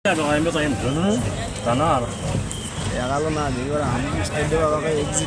Ore enjurore enkiremore kenyokita aitobir losekin lenkiremore.